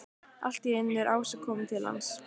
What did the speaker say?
Allt í einu er Ása komin til hans.